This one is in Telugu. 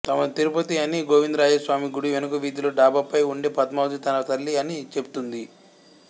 తమది తిరుపతి అని గోవిందరాజస్వామి గుడి వెనుక వీధిలో డాబాపై వుండే పద్మావతి తన తల్లి అని చెబుతుంది